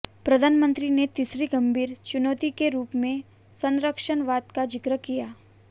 प्रधानमंत्री ने तीसरी गंभीर चुनौती के रूप में संरक्षणवाद का जिक्र किया